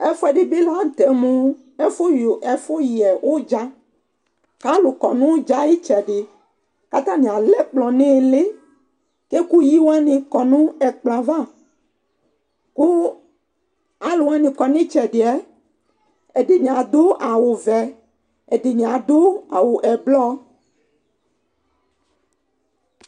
Ɛssɛɖi bi la nutɛ mu usiii--vli ɛfu yɛ uɖzà Ku ãlu kɔ nu uɖzà yɛ ayu itsɛdi Ku atani alɛ ɛkplɔ nu iɣilíh Ku ɛkuyi waní kɔ nu ɛkplɔ yɛ ãvã Ku aluwani kɔ nu itsɛdi yɛ, ɛdini ãdu awu vɛ, ɛdini ãdu awu ɛblɔɔ